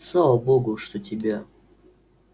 слава богу что тебя